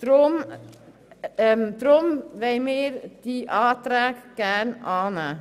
Deshalb möchten wir diese Anträge annehmen.